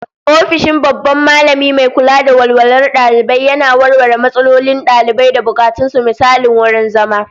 Ofishin babban Mallami mai kula da walwalar dalibai yana warware matsalolin dalibai da bukatun su, misali wurin zama